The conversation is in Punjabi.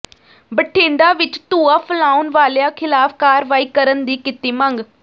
ਬਠਿੰਡਾ ਵਿੱਚ ਧੁਆਂ ਫਲਾਉਣ ਵਾਲਿਆਂ ਖਿਲਾਫ਼ ਕਾਰਵਾਈ ਕਰਨ ਦੀ ਕੀਤੀ ਮੰਗ